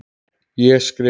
Ég skrifa.